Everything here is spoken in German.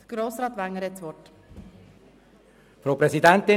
– Grossrat Wenger hat das Wort.